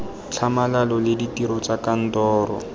tlhamalalo le ditiro tsa kantoro